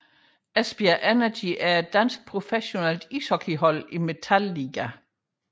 Esbjerg Energy er et dansk professionelt ishockeyhold i Metal Ligaen